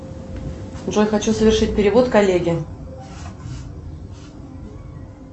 джой хочу совершить перевод коллеге